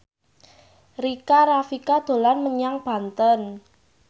Rika Rafika dolan menyang Banten